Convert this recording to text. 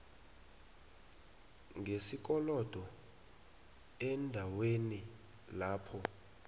ngesikolodo eendaweni lapho